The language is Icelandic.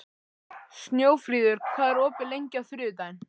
Snjófríður, hvað er opið lengi á þriðjudaginn?